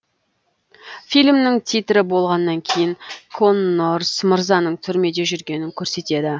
фильмнің титрі болғаннан кейін коннорс мырзаның түрмеде жүргенін көрсетеді